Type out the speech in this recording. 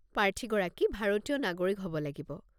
প্ৰাৰ্থীগৰাকী ভাৰতীয় নাগৰিক হ'ব লাগিব।